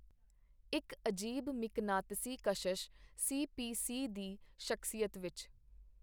ਇਕ ਅਜੀਬ ਮਿਕਨਾਤੀਸੀ ਕਸ਼ਸ਼ ਸੀ ਪੀ. ਸੀ. ਦੀ ਸ਼ਖਸੀਅਤ ਵਿਚ.